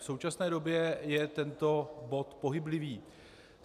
V současné době je tento bod pohyblivý.